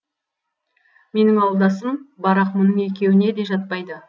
менің ауылдасым барақ мұның екеуіне де жатпайды